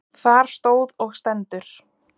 Þar stóð og stendur